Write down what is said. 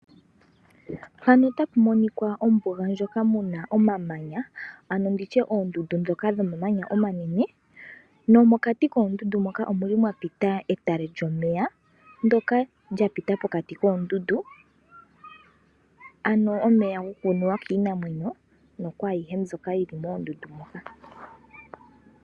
Ombuga omuna omamanya ano oondundu dhomamanya omanene. Nomokati koondundu moka omuli mwapita etale lyomeya ndyoka lyapita pokati koondundu ano omeya gokunuwa kiinamwenyo nokwayihe mbyoka yili moondundu moka.